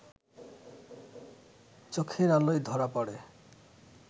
চোখের আলোয় ধরা পড়ে